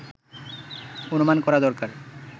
অনুমান করা দরকার